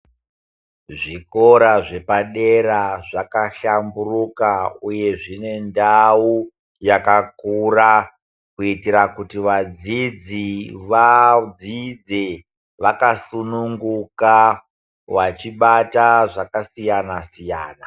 Zvikora zvepadera zvakashamburuka uye zvine ndau yakakura kuitira kuti vadzidzi vadzidze vakasunguka vachibata zvakasiyana siyana.